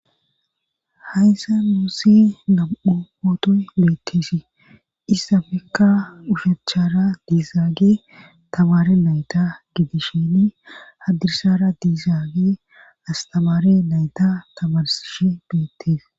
hayssa nuusi nam7u pootoy beetteesi issafekka ushachara diizaage tabaare nayta gidisheni haddirsara diizaage astabaare nayta tabarsishe beettees